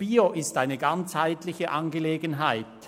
«Bio» ist eine ganzheitliche Angelegenheit.